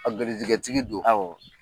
A garijijɛtigi don.